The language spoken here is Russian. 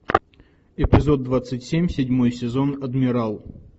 эпизод двадцать семь седьмой сезон адмирал